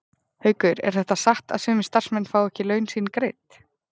Haukur: Er það satt að sumir starfsmenn fái ekki laun sín greidd?